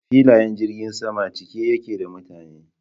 Filayen jirgin sama cike yake da mutane.